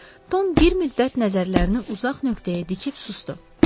Tom bir müddət nəzərlərini uzaq nöqtəyə dikib susdu.